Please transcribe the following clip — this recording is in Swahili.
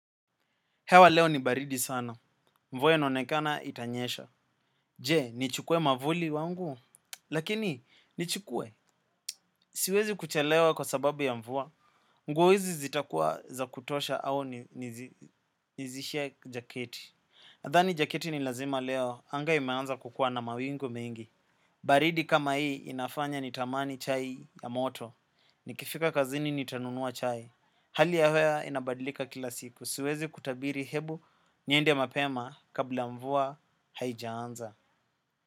Hewa leo ni baridi sana. Mvua inaonekana itanyesha. Je, nichukue mwavuli wangu? Lakini, ni chukue. Siwezi kuchelewa kwa sababu ya mvua. Nguo hizi zitakua za kutosha au nizishe jaketi. Nadhani jaketi ni lazima leo. Anga imeanza kukua na mawingu mengi. Baridi kama hii inafanya nitamani chai ya moto. Nikifika kazini nitanunua chai. Hali ya hewa inabadilika kila siku siwezi kutabiri hebu niende mapema kabla mvua haijaanza.